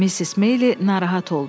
Missis Meyli narahat oldu.